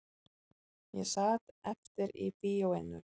Ég sat eftir í bíóinu